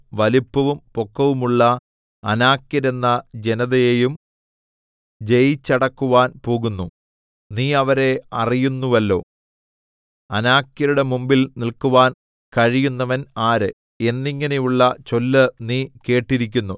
വലിപ്പവും പൊക്കവുമുള്ള അനാക്യരെന്ന ജനതയെയും ജയിച്ചടക്കുവാൻ പോകുന്നു നീ അവരെ അറിയുന്നുവല്ലോ അനാക്യരുടെ മുമ്പിൽ നില്ക്കുവാൻ കഴിയുന്നവൻ ആര് എന്നിങ്ങനെയുള്ള ചൊല്ല് നീ കേട്ടിരിക്കുന്നു